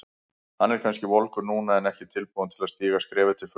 Hann er kannski volgur núna en ekki tilbúinn til að stíga skrefið til fulls.